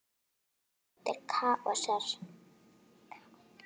Hún var dóttir Kaosar.